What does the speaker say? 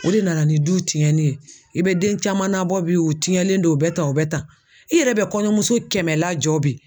o de nana ni du tiɲɛni ye. I be den caman nabɔ bi u tiɲɛlen don u bɛ tan u bɛ tan, i yɛrɛ bɛ kɔɲɔmuso kɛmɛ lajɔ bi